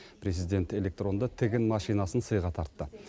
президент электронды тігін машинасын сыйға тартты